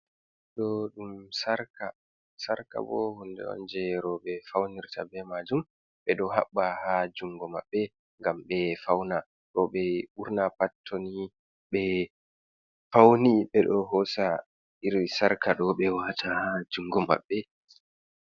Ɗo ɗum sarka, sarka bo hunde on je roɓe faunirta be majum, ɓe ɗo haɓɓa ha jungo maɓɓe gam ɓe fauna, roɓe burna pat toni be fauni ɓe ɗo hosa iri sarka ɗo ɓe wata ha jungo maɓɓe.